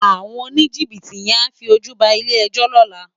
Áwòn ónijibiti yèn á fi ójú bá ilé èjò lòlá